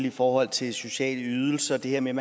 i forhold til sociale ydelser det her med at